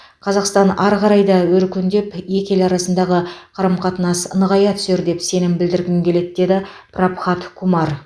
қазақстан ары қарай да өркендеп екі ел арасындағы қарым қатынас нығая түсер деп сенім білдіргім келеді деді прабхат кумар